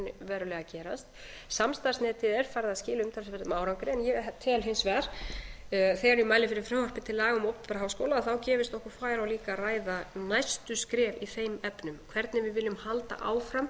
rauninni að gera samstarfsnetið er farið að skila umtalsverðum árangri en ég tel hins vegar að þegar ég mæli fyrir frumvarpi til laga um opinbera háskóla gefist okkur færi á líka að ræða næstu skref í þeim efnum hvernig við viljum halda áfram